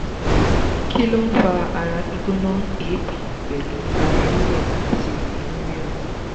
kí ló ń fa ara gbigbona eebi pelu ara rire ati inu rirun?